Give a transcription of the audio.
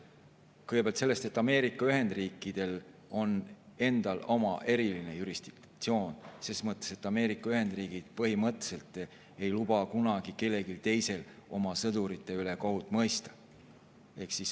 Kõigepealt sellest, et Ameerika Ühendriikidel on endal oma eriline jurisdiktsioon, ses mõttes, et Ameerika Ühendriigid põhimõtteliselt ei luba kunagi kellelgi teisel oma sõdurite üle kohut mõista.